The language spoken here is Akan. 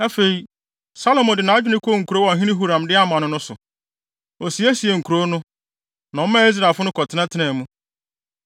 Afei, Salomo de nʼadwene kɔɔ nkurow a ɔhene Huram de ama no no so. Osiesiee nkurow no, na ɔmaa Israelfo no kɔtenatenaa mu.